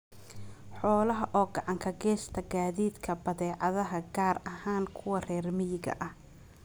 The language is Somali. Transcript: Xoolaha oo gacan ka geysta gaadiidka badeecadaha gaar ahaan kuwa reer miyiga ah.